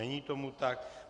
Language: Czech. Není tomu tak.